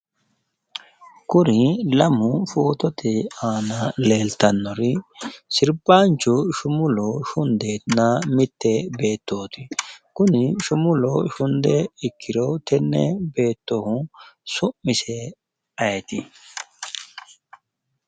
Kuri lamu fotote aana leeltannori sirbaancho shumulo shundenna mitte beettooti. Kuni shumulo shunde ikkiro tenne beetohu su'mise ayeeti?